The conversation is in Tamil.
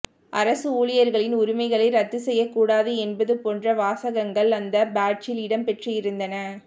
அரசு ஊழியர்களின் உரிமைகளை ரத்து செய்யக் கூடாது என்பது போன்ற வாசகங்கள் அந்த பேட்ஜில் இடம் பெற்றிருந்தன